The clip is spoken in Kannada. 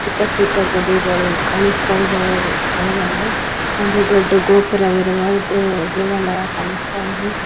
ಚಿಕ್ಕ ಚಿಕ್ಕ ಗುಡಿಗಳು ಕಾಣುಸ್ತಾ ಇದಾವೆ ಕೆಲವೊಂದು ಒಂದು ದೊಡ್ಡ ಗೋಪುರವಿರುವ ದೇವ ದೇವಲಾಯ ಕಾಣುಸ್ತಾ ಇದೆ.